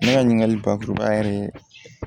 Ne ka ɲininkali bakuruba yɛrɛ ye